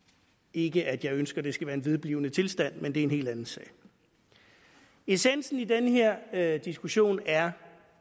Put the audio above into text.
ikke at jeg ønsker at det skal være en vedblivende tilstand men det er en helt anden sag essensen i den her her diskussion er